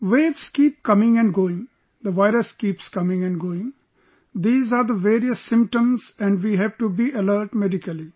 Waves keep coming and going, the virus keeps coming and going...these are the various symptoms and we have to be alert medically